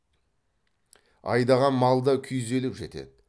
айдаған мал да күйзеліп жетеді